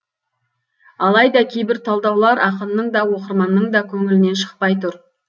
алайда кейбір талдаулар ақынның да оқырманның да көңілінен шықпай тұр